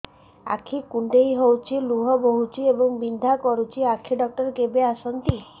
ଆଖି କୁଣ୍ଡେଇ ହେଉଛି ଲୁହ ବହୁଛି ଏବଂ ବିନ୍ଧା କରୁଛି ଆଖି ଡକ୍ଟର କେବେ ଆସନ୍ତି